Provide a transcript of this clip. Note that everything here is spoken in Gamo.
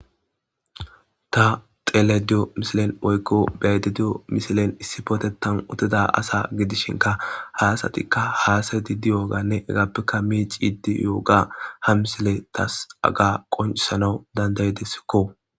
ta xele diyo misilen oykko beaydediyo misilen issipootetan utida asa gidishinka haasatikka haasay di di yooganne egaappekka miici iddi yooga ha misile tas aga qoncisanau dandayi dessikko